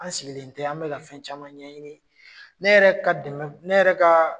An sigilen tɛ an bɛ ka ka fɛn caman ɲɛɲini.